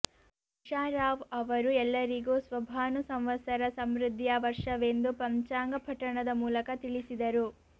ಉಷಾ ರಾವ್ ಅವರು ಎಲ್ಲರಿಗು ಸ್ವಭಾನು ಸಂವತ್ಸರ ಸಮೃದ್ಧಿಯ ವರ್ಷವೆಂದು ಪಂಚಾಂಗ ಪಠಣದ ಮೂಲಕ ತಿಳಿಸಿದರು